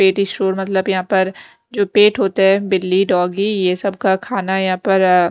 पेटीशोर मतलब यहां पर जो पेट होता है बिल्ली डॉगी ये सब का खाना यहां पर--